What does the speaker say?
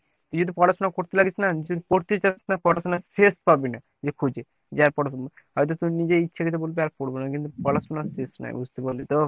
তুই যদি পড়াশোনা করতে লাগিস না, যদি পড়তে চাস না, পড়াশোনার শেষ পাবি না, যে খুঁজে হয়তো তুই নিজে ইচ্ছা কৃত বললি যে আর পড়বো না। কিন্তু পড়াশোনার শেষ নাই বুঝতে পারলি তো ?